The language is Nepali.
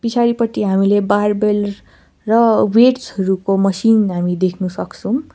पिछाडिपटि हामीले बारबेल र वेटस हरूको मसिन हामी देख्न सक्छौं।